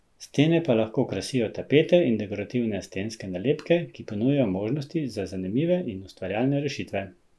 Stene pa lahko krasijo tapete in dekorativne stenske nalepke, ki ponujajo možnosti za zanimive in ustvarjalne rešitve.